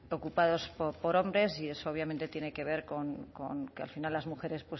ocupados por hombres y eso obviamente tiene que ver con que al final las mujeres